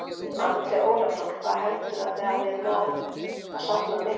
Andri Ólafsson: Hvað heldurðu að þið hafið náð að safna miklu?